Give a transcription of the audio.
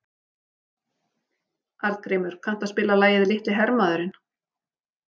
Arngrímur, kanntu að spila lagið „Litli hermaðurinn“?